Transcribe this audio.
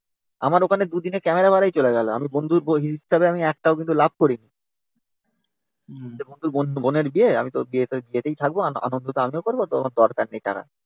আমার ওখানে দুদিনে ক্যামেরা ভাড়াই চলে গেল। আমি বন্ধু হিসেবে আমি এক টাকাও লাভ করিনি। বোনের বিয়ে আমি তো বিয়েতে যেতেই থাকব আনন্দ তো আমিও করব। তো আমার দরকার নেই টাকাটা।